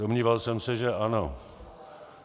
Domníval jsem se, že ano.